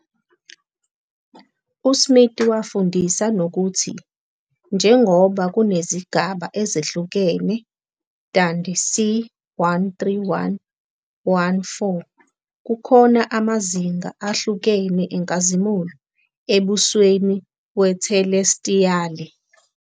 USmith wafundisa nokuthi njengoba kunezigaba ezehlukene DandC 131-1-4, kukhona amazinga ahlukene enkazimulo embusweni wethelestiyali.